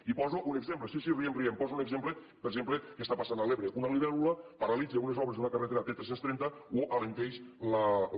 i en poso un exemple sí sí riguem riguem en poso un exemple per exemple que està passant a l’ebre una libèl·lula paralitza unes obres d’una carretera t tres cents i trenta o alenteix la